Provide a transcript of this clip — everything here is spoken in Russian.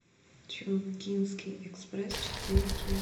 чунгкингский экспресс четыре кей